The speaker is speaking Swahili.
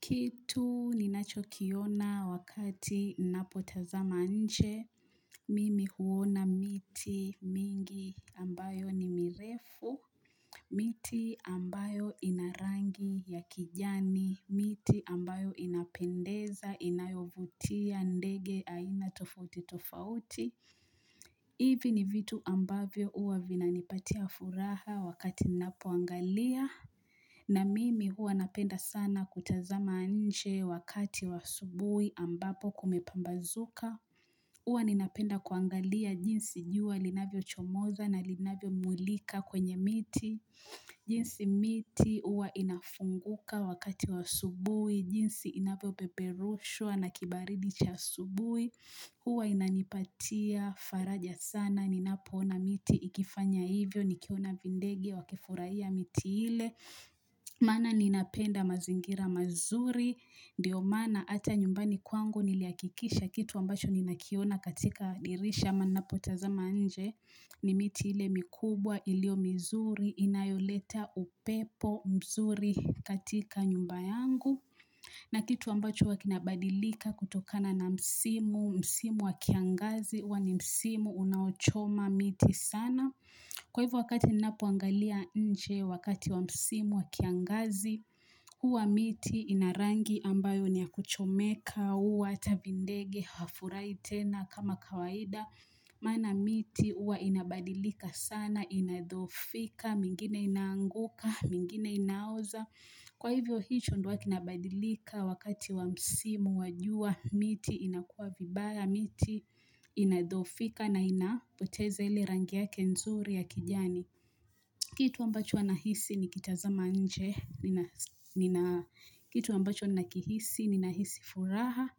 Kitu ninachokiona wakati napo tazama nje, mimi huona miti mingi ambayo ni mirefu, miti ambayo inarangi ya kijani, miti ambayo inapendeza, inayovutia, ndege, aina tofauti tofauti. Hivi ni vitu ambavyo huwa vinanipatia furaha wakati napo angalia. Na mimi huwa napenda sana kutazama nje wakati w aasubuhi ambapo kumepambazuka. Huwa ninapenda kuangalia jinsi jua linavyochomoza na linavyomulika kwenye miti. Jinsi miti huwa inafunguka wakati wa asubui. Jinsi inavyopeperushua na kibaridi cha asubui. Huwa inanipatia, faraja sana, ninapona miti, ikifanya hivyo, nikiona vindegi, wakifurahia miti ile Maana ninapenda mazingira mazuri, ndiyo maana hata nyumbani kwangu nilihakikisha kitu ambacho ninakiona katika dirisha ama ninapotazama nje ni miti ile mikubwa ilio mizuri, inayoleta upepo mzuri katika nyumba yangu na kitu ambacho huwa kina badilika kutokana na msimu, msimu wakiangazi, huwa ni msimu unaochoma miti sana. Kwa hivyo wakati ninapoangalia nje, wakati wa msimu wakiangazi, huwa miti inarangi ambayo niyakuchomeka, huwa hata vindege, hafurahi tena kama kawaida. Maana miti huwa inabadilika sana, inadhofika, mingine inaanguka, mingine inaoza. Kwa hivyo hicho ndio kinabadilika wakati wa msimu, wa jua, miti inakua vibaya, miti inadhofika na inapoteza ili rangi yake nzuri ya kijani. Kitu ambacho huwa nahisi nikitazama nje, kitu ambacho nakihisi ninahisi furaha,